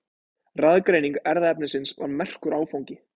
Raðgreining erfðaefnisins var merkur áfangi.